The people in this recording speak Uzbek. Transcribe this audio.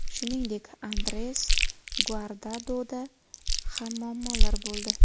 Shuningdek, Andres Guardadoda ham muammolar bo‘ldi.